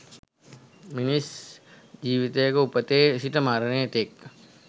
මිනිස් ජීවිතයක උපතේ සිට මරණය තෙක්